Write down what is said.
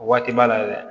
O waati b'a la dɛ